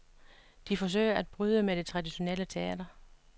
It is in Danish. De forsøger at bryde med det traditionelle teater.